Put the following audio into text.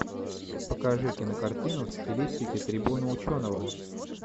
покажи кинокартину в стилистике трибуна ученого